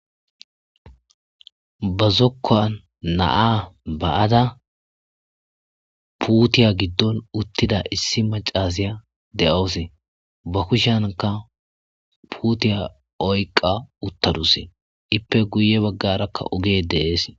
Ba zokoninzokoni 'a ba'ada putiya gidoni utidda issi macasiya deyawusi ba kushyinka oyiqa utadusi ipe guye bagaraka ogeyi desi.